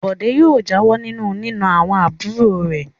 Bọ̀dé yóò jáwọ́ nínú nína àwọn àbúrò rẹ̀.